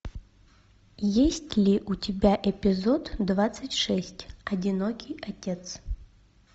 есть ли у тебя эпизод двадцать шесть одинокий отец